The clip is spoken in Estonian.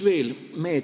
Veel.